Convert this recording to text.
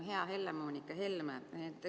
Hea Helle-Moonika Helme!